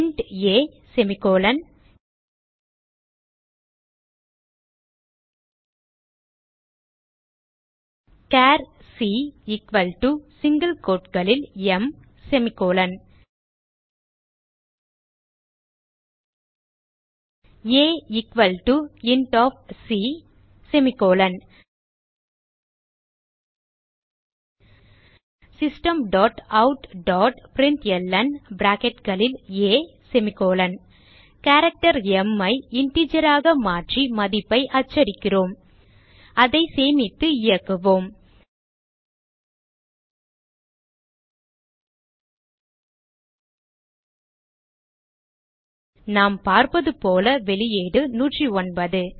int a char c equal to single quoteகளில் ம் a equal to c system dot out dot println character m ஐ integer ஆக மாற்றி மதிப்பை அச்சடிக்கிறோம் அதை சேமித்து இயக்குவோம் நாம் பார்ப்பதுபோல வெளியீடு 109